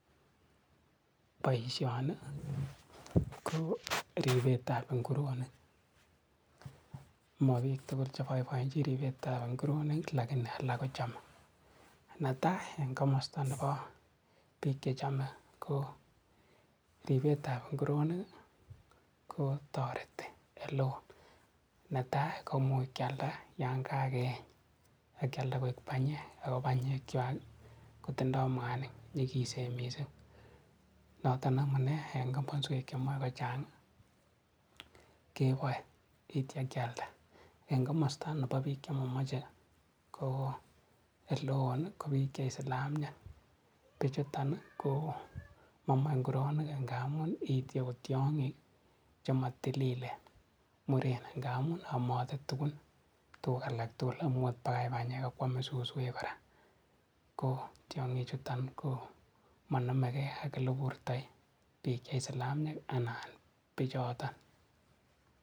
Boisioni koo ripetab nguronik mo biik tugul neboiboenchin ripetab nguronik lakini alak kochome, netai en komostab nepo biik chechomee, ripetan nguronik kotoreti eleo netai komuch kialda yan kakeeny akyalda koik banyek ako banyekwak kotindoo mwanik nyikisen mising noton amunee en komoswek chemoe kochang keboe itia kyalda ,en komosta nepo biik chemomoche koo eleon ko biik che islamiek bichuton koo momoe nguronik ngamu iiti kotiong'ik chemotililen muren ngamun amote tukuk alak tugul amot pakai banyek akwome suswek kora ko tiong'ichuto komonomeka ak eleburtoi beek che isilamiek anan bichoton.